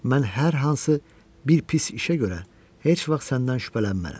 Mən hər hansı bir pis işə görə heç vaxt səndən şübhələnmərəm.